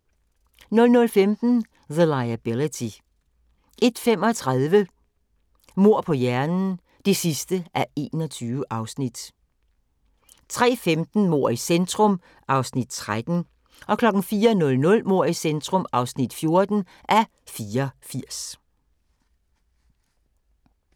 00:15: The Liability 01:35: Mord på hjernen (21:21) 03:15: Mord i centrum (13:84) 04:00: Mord i centrum (14:84)